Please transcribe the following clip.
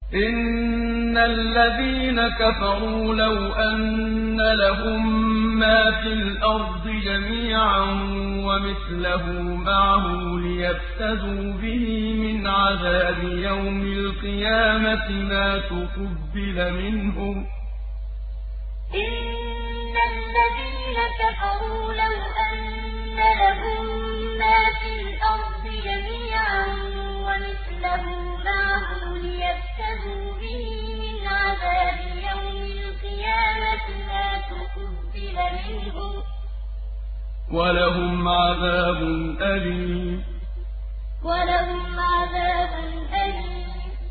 إِنَّ الَّذِينَ كَفَرُوا لَوْ أَنَّ لَهُم مَّا فِي الْأَرْضِ جَمِيعًا وَمِثْلَهُ مَعَهُ لِيَفْتَدُوا بِهِ مِنْ عَذَابِ يَوْمِ الْقِيَامَةِ مَا تُقُبِّلَ مِنْهُمْ ۖ وَلَهُمْ عَذَابٌ أَلِيمٌ إِنَّ الَّذِينَ كَفَرُوا لَوْ أَنَّ لَهُم مَّا فِي الْأَرْضِ جَمِيعًا وَمِثْلَهُ مَعَهُ لِيَفْتَدُوا بِهِ مِنْ عَذَابِ يَوْمِ الْقِيَامَةِ مَا تُقُبِّلَ مِنْهُمْ ۖ وَلَهُمْ عَذَابٌ أَلِيمٌ